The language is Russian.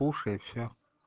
уши и все